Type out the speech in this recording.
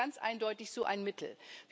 Der Bus ist ganz eindeutig so ein Mittel.